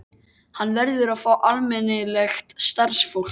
Hann verður að fá almennilegt starfsfólk.